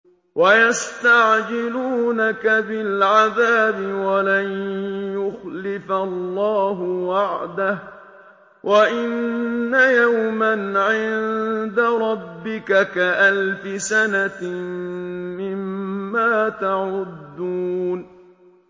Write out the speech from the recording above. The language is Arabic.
وَيَسْتَعْجِلُونَكَ بِالْعَذَابِ وَلَن يُخْلِفَ اللَّهُ وَعْدَهُ ۚ وَإِنَّ يَوْمًا عِندَ رَبِّكَ كَأَلْفِ سَنَةٍ مِّمَّا تَعُدُّونَ